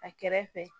A kɛrɛfɛ